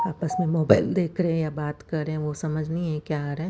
आपस में मोबाइल देख रहे है या बात कर रहे है वो समझ नी ये क्या आ रहा--